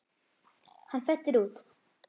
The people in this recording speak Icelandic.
Hann fellur út.